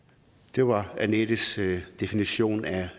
det var anettes definition